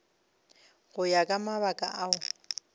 go ya ka mabaka ao